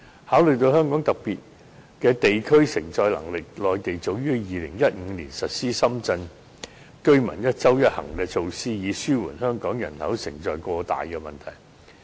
考慮到香港個別地區的承載能力，內地早於2015年實施深圳居民"一周一行"措施，以紓緩香港人口承載過大的問題。